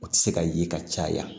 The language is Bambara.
O tɛ se ka ye ka caya